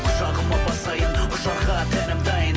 құшағыма басайын құшарға тәнім дайын